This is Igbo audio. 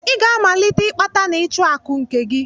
I ga-amalite ịkpata na ịchụ akụ nke gị!